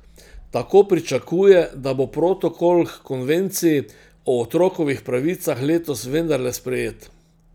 Tako pričakuje, da bo protokol h konvenciji o otrokovih pravicah letos vendarle sprejet.